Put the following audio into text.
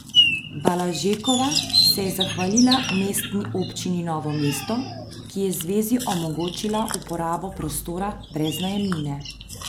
Balažekova se je zahvalila Mestni občini Novo mesto, ki je zvezi omogočila uporabo prostora brez najemnine.